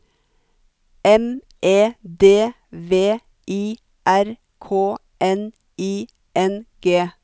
M E D V I R K N I N G